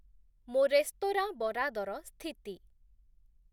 ମୋ ରେସ୍ତୋରାଁ ବରାଦର ସ୍ଥିତି